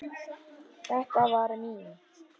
Þetta var mín.